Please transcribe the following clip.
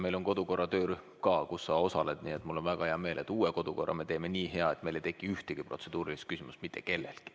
Meil on ka kodukorra töörühm, mille tegevuses sa osaled, nii et mul on väga hea meel, et uue kodukorra me teeme nii hea, et mitte kellelgi ei tekki mitte ühtegi protseduurilist küsimust.